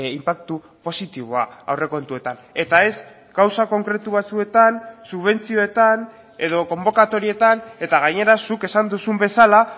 inpaktu positiboa aurrekontuetan eta ez gauza konkretu batzuetan subentzioetan edo konbokatorietan eta gainera zuk esan duzun bezala